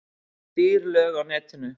Dýr lög á netinu